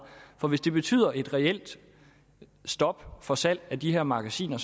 for hvis det betyder et reelt stop for salg af de her magasiner